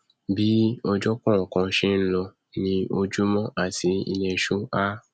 bí ọjọ kọọkan ṣe nlọ ni ojúmọ àti ilẹṣú a